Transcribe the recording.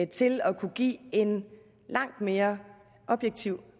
til at kunne give en langt mere objektiv